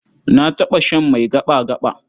Na taɓa shan mai gaɓa-gaɓa.